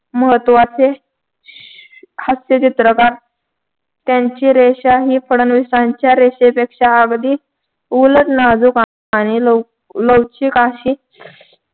महत्वाचे हास्यचित्रकार त्यांची रेषा ही फडणवीसांच्या रेषेपेक्षा अगदी उलट नाजूक आणि लव लवचिक अशी